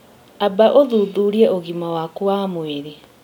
Amba ũthuthurie ũgima waku wa mwĩrĩ